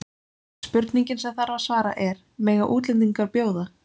Spurningin sem þarf að svara er: Mega útlendingar bjóða?